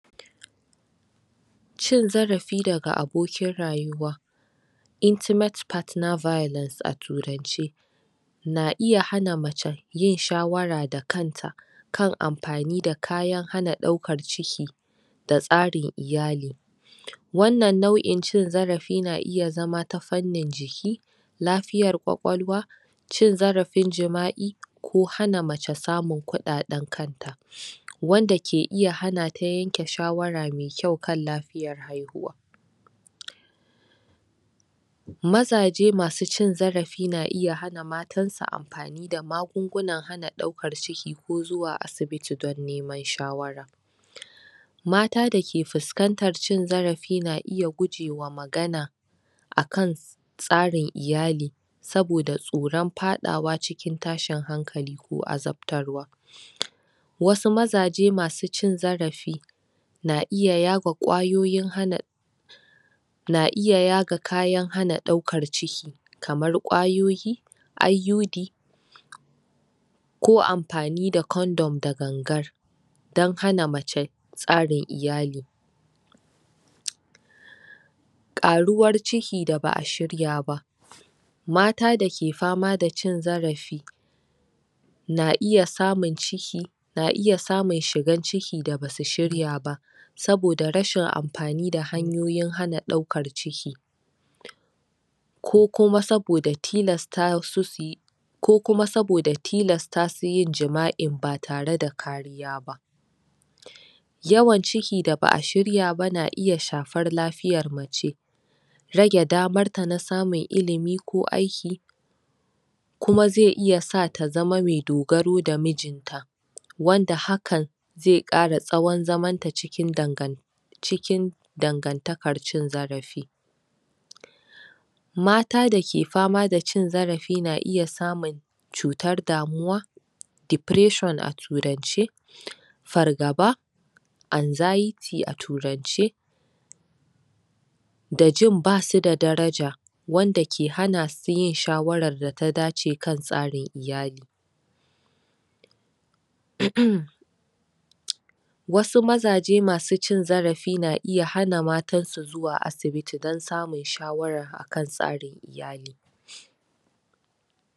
Cin zarafi daga abokin rayuwa intimate partner violence a turance na iya hana mace yin shawara da kanta kan amfani da kayan hana ɗauka ciki da tsarin iyali wannan nau’in cin zarafin na iya zama ta fannin jiki lafiyar ƙwaƙwalwa cin zarafin jima’i jima’i ko hana mace samun kuɗaɗen kanta wanda ke iya hanata yanke shawara mai kyau kan lafiyar haihuwa mazaje masu cin zarafin na iya hana matansu amfani da magungunan hana ɗaukar ciki ko zuwa asibiti don neman shawara mata dake fuskantar cin zarafin na iya gujewa magana akan tsarin iyali saboda tsoron faɗawa cikin tashin hankali ko azabtarwa wasu mazaje masu cin zarafi na iya yaga kwayoyin hana na iya yaga kayan hana ɗaukar ciki kamar kwayoyi IUD ko amfani da condom da gangan dan hana mace tsarin iyali ƙaruwar ciki da ba’a shirya ba mata dake fama da cin zarafi na iya samun ciki na iya samun shigar ciki da basu shirya ba saboda rashin amfani da hanyoyi hana ɗaukar ciki ko kuma saboda tilasta su suyi ko kuma saboda tilasta su yin jima’i ba tare da kariya ba yawan ciki da ba’a shirya ba na iya shafar lafiyar mace raje damar ta na samun ilimi ko aiki aiki kuma zai iya sata ta zamo mai dogaro da mijinta wanda hakan zai ƙara tsawon zamanta cikin dangan cikin dangantaka cin zarafin mata dake fama da cin zarafin na iya samun cutar damuwa depression a turance fargaba anxiety a turance da jin basu da daraja wanda ke hana su yin shawarar da ta dace kan tsarin iyali um wasu mazaje masu cin zarafin na iya hana matansu zuwa asibiti don samun shawara akan tsarin iyali